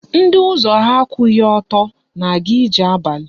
Ndị ụzọ ha akwụghị ọtọ na-aga ije abalị